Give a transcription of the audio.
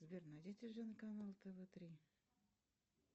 сбер найди телевизионный канал тв три